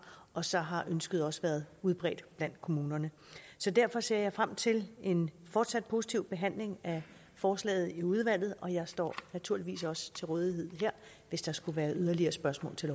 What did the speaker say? og så har ønsket også været udbredt blandt kommunerne derfor ser jeg frem til en fortsat positiv behandling af forslaget i udvalget og jeg står naturligvis også til rådighed her hvis der skulle være yderligere spørgsmål til